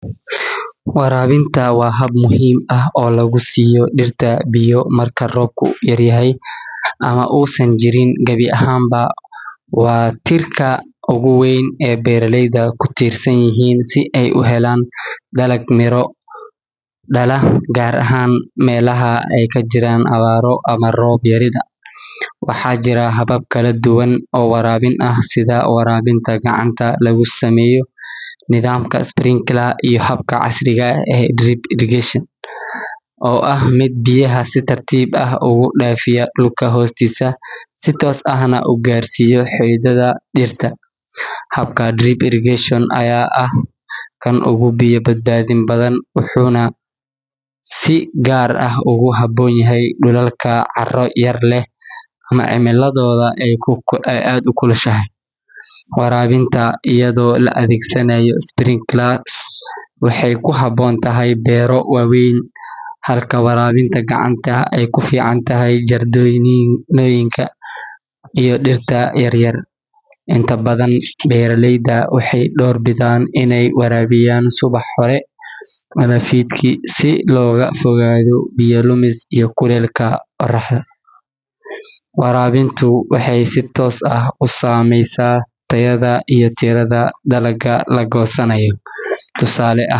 Warabinta waa hab muhim aah oo lagusiyo dirta biyo marku robka yaryahay ama usan jirin gawi ahan baa, waa tirka oguwein ee beraleyda kutirsanyihin sii ay uhelan dalag miro dala, gar ahan melaha aay kajiran abaro ama rob yarida, waxa jiran habab kaladub oo warabin ah sidhaa warabinta gacanta lagu simeyo nidamka sprinkler iyo habka casriga ah ee drip irrigation, oo ah mid biyaha si tartib ah ogudafiya dulka hostisa sii tos ah nah ugarsiyo xididadha dirta, habka drip irrigation aya ah kan ogu biyaa badbadin badhan wuxu nah si gar ah oguhabonyahay dulalka caro yar leh ama cimiladoda aay aad ukulushahay, warabinta ayado laa adegsanayo sprinkler waxay kuhabontahay bero waweyn halka warabinta gacanta aay kuficantahy jartoyinka iyo dirta yaryar, intabadhan beraleyda waxay dor bidhan inay warabiyan subax hore amah fidki sii loga fogado biya lumis iyo kulelka oroxda, warabinta waxay si tos ah usameysa tayada iyo tirada lagosanayo tusale ahan.